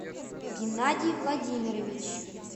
геннадий владимирович